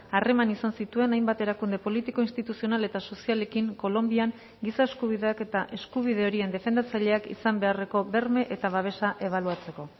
harreman izan zituen hainbat erakunde politiko instituzional eta sozialekin kolonbian giza eskubideak eta eskubide horien defendatzaileak izan beharreko berme eta babesa ebaluatzeko